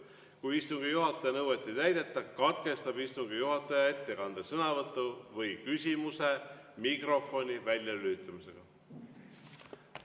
Kui istungi juhataja nõuet ei täideta, katkestab istungi juhataja ettekande, sõnavõtu või küsimuse mikrofoni väljalülitamisega.